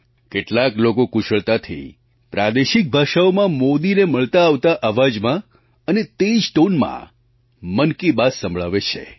કેટલાક લોકો કુશળતાથી પ્રાદેશિક ભાષાઓમાં મોદીને મળતા આવતા અવાજમાં અને તે જ ટૉનમાં મન કી બાત સંભળાવે છે